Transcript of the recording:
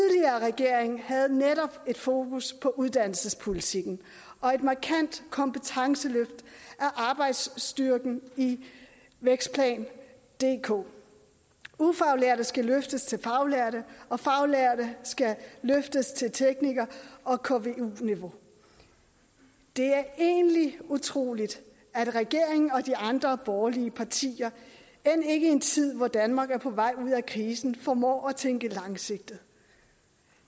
regering havde netop et fokus på uddannelsespolitikken og et markant kompetenceløft af arbejdsstyrken i vækstplan dk ufaglærte skal løftes til faglærte og faglærte skal løftes til tekniker og kvu niveau det er egentlig utroligt at regeringen og de andre borgerlige partier end ikke i en tid hvor danmark er på vej ud af krisen formår at tænke langsigtet